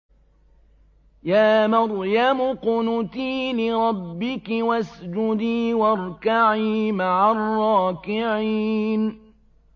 يَا مَرْيَمُ اقْنُتِي لِرَبِّكِ وَاسْجُدِي وَارْكَعِي مَعَ الرَّاكِعِينَ